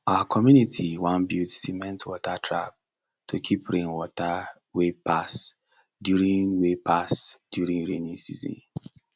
our community wan build cement water trap to keep rain water wey pass during wey pass during rainy season